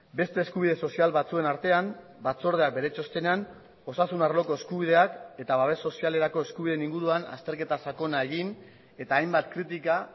beste eskubide sozial batzuen artean batzordeak bere txostenean osasun arloko eskubideak eta babes sozialerako eskubideen inguruan azterketa sakona egin eta hainbat kritika